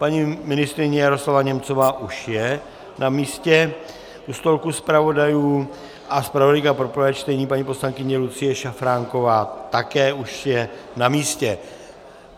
Paní ministryně Jaroslava Němcová už je na místě u stolku zpravodajů a zpravodajka pro prvé čtení paní poslankyně Lucie Šafránková také už je na místě.